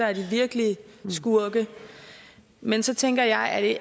er de virkelige skurke men så tænker jeg at